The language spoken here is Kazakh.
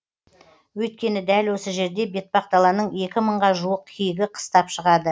өйткені дәл осы жерде бетпақдаланың екі мыңға жуық киігі қыстап шығады